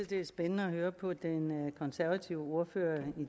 det er spændende at høre på den konservative ordfører